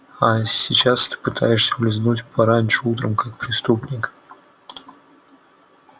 а сейчас ты пытаешься улизнуть пораньше утром как преступник